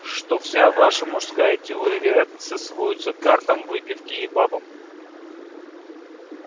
что вся ваша мужская теория вероятности сводится к картам выпивке и бабам